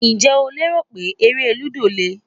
Ǹjẹ́ o rò pé eré lúdò le?